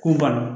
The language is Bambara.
K'u banna